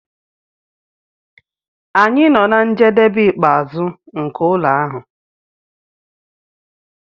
anyị nọ na njedebe ikpeazụ nke ụlọ ahụ